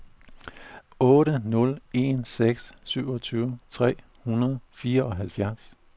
otte nul en seks syvogtyve tre hundrede og fireoghalvfjerds